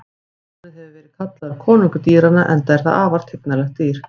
Ljónið hefur verið kallað konungur dýranna enda er það afar tignarlegt dýr.